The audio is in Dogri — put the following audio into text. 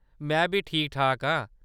मैं बी ठीक-ठाक आं।